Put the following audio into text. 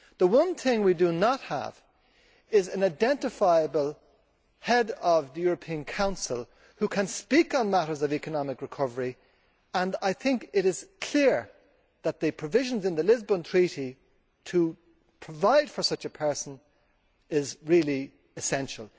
The one thing we do not have is an identifiable head of the European Council who can speak on matters of economic recovery, and I think it is clear that the provision in the Lisbon Treaty to provide for such a person is really essential.